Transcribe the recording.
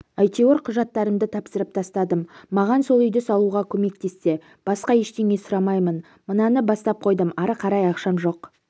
әйтеуір құжаттарымды тапсырып тастадым ға маған сол үйді салуға көмектессе басқа ештеңе сұраймаймын мынаны бастап қойдым ары қарай ақшам жоқ